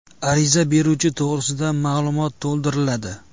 Ariza beruvchi to‘g‘risida ma’lumot to‘ldiriladi.